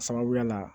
Sababuya la